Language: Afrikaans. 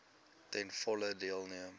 ten volle deelneem